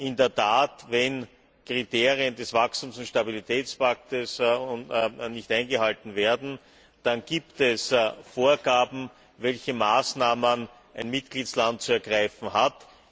In der Tat, wenn Kriterien des Wachstums und Stabilitätspakts nicht eingehalten werden, dann gibt es Vorgaben, welche Maßnahmen ein Mitgliedstaat zu ergreifen hat.